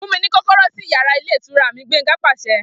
Fun mi ni kọkọrọ si yara ilé ìtura mi! Gbenga paṣẹ